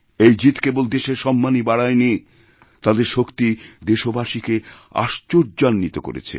এই জিত কেবল দেশের সম্মানই বাড়ায়নি তাদের শক্তি দেশবাসীকেআশ্চর্যান্বিত করেছে